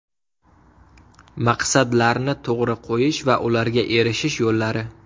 Maqsadlarni to‘g‘ri qo‘yish va ularga erishish yo‘llari.